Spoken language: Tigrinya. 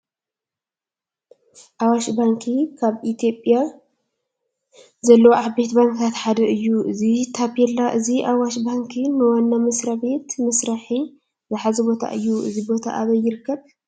ኣዋሽ ባንኪ ካብ ኣብ ኢትዮጵያ ዘለዉ ዓበይቲ ባንክታት ሓደ እዩ፡፡ እዚ ታፔላ እዚ ኣዋሽ ባንኪ ንዋና መስሪያ ቤት መስርሒ ዝሓዞ ቦታ እዩ፡፡ እዚ ቦታ ኣበይ ይርከብ?